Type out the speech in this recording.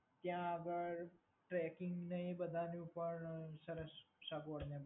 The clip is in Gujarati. ત્યાં આગળ ટ્રેકિંગ અને એ બધાની ઉપર સરસ સગવડ મળે છે.